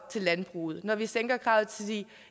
til landbruget når vi sænker kravet til de